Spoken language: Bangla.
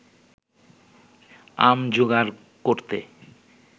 আম জোগাড় করতে